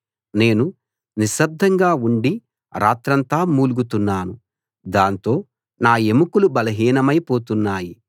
నేను నిశ్శబ్దంగా ఉండి రాత్రంతా మూల్గుతున్నాను దాంతో నా ఎముకలు బలహీనమై పోతున్నాయి